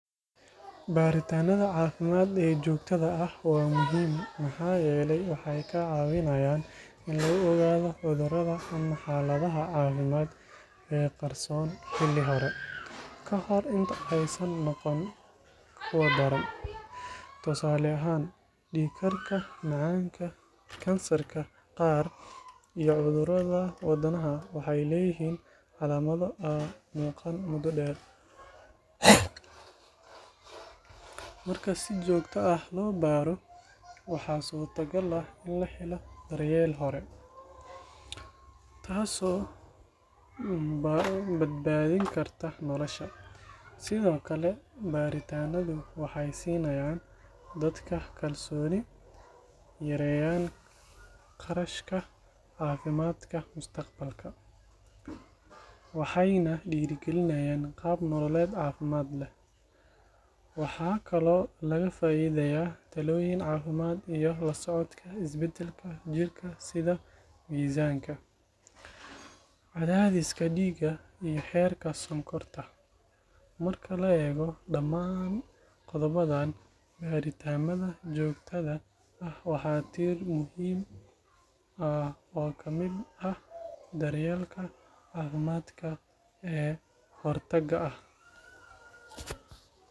Baadhitaannada caafimaad ee joogtada ah waa muhiim maxaa yeelay waxay kaa caawinayaan in lagu ogaado cudurrada ama xaaladaha caafimaad ee qarsoon xilli hore, ka hor inta aysan noqon kuwo daran. Tusaale ahaan, dhiig-karka, macaanka, kansarka qaar iyo cudurrada wadnaha waxay leeyihiin calaamado aan muuqan muddo dheer. Marka si joogto ah loo baadho, waxaa suurtagal ah in la helo daryeel hore, taasoo badbaadin karta nolosha. Sidoo kale, baadhitaannadu waxay siinayaan dadka kalsooni, yareeyaan kharashka caafimaadka mustaqbalka, waxayna dhiirrigeliyaan qaab nololeed caafimaad leh. Waxaa kaloo laga faa’iidayaa talooyin caafimaad iyo la socodka isbeddelada jirka sida miisaanka, cadaadiska dhiigga iyo heerka sonkorta. Marka la eego dhammaan qodobbadan, baadhitaannada joogtada ah waa tiir muhiim ah oo ka mid ah daryeelka caafimaadka ee hortagga ah.